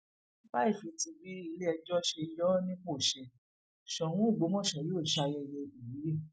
láì fi ti bí iléẹjọ ṣe yọ ọ nípò ṣe soun ọgbọmọso yóò ṣe ṣayẹyẹ ìwúyẹ